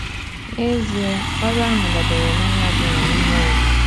N’ezie, ọrụ ahụ dabere na onye ọ bụla n’ime anyị.